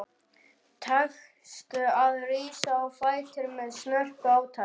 Tekst að rísa á fætur með snörpu átaki.